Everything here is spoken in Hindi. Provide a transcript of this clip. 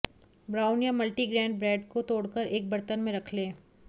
ब्राउन या मल्टी ग्रैन ब्रेड को तोड़कर एक बर्तन में रख लें